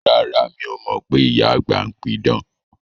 Rárá, mi o mọ pé ìyá àgbà ń pí idán